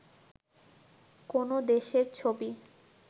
কোনও দেশের ছবি